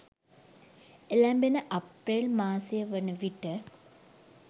එළැඹෙන අප්‍රේල් මාසය වන විට